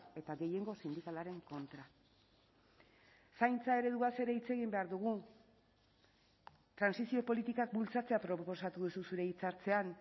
eta gehiengo sindikalaren kontra zaintza ereduaz ere hitz egin behar dugu trantsizio politikak bultzatzea proposatu duzu zure hitzartzean